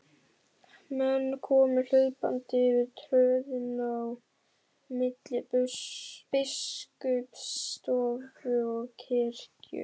Menn komu hlaupandi yfir tröðina á milli biskupsstofu og kirkju.